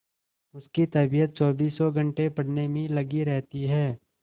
उसकी तबीयत चौबीसों घंटे पढ़ने में ही लगी रहती है